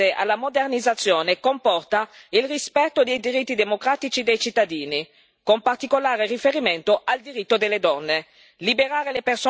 L'apertura del paese alla modernizzazione comporta il rispetto dei diritti democratici dei cittadini, con particolare riferimento ai diritti delle donne.